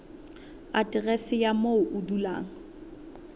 aterese ya moo o dulang